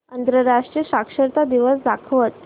आंतरराष्ट्रीय साक्षरता दिवस दाखवच